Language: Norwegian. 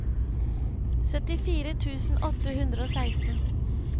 syttifire tusen åtte hundre og seksten